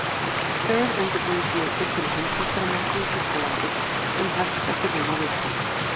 Tveir undirbúningsleikir fyrir Heimsmeistaramótið í Þýskalandi sem hest eftir rúma viku.